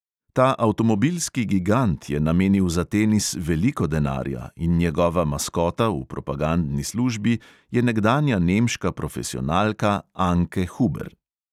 Ta avtomobilski gigant je namenil za tenis veliko denarja in njegova maskota v propagandni službi je nekdanja nemška profesionalka anke huber.